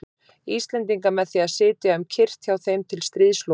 Íslendinga með því að sitja um kyrrt hjá þeim til stríðsloka.